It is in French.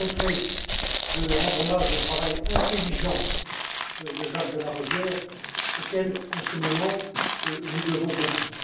Vous me permettrez de rendre hommage au travail intelligent de Jacques de Larosière auquel, en ce moment, nous devons beaucoup.